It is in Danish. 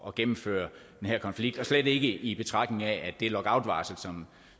at gennemføre den her konflikt og slet ikke i betragtning af at det lockoutvarsel